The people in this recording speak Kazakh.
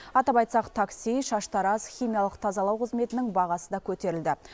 атап айтсақ такси шаштараз химиялық тазалау қызметінің бағасы да көтерілді